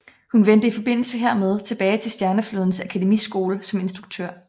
Han vendte i forbindelse hermed tilbage til Stjerneflådens Akademiskole som instruktor